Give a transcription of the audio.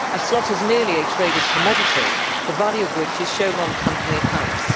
A slot is merely a traded commodity, the value of which is shown on company accounts.